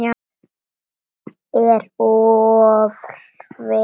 Er of hræddur við þær.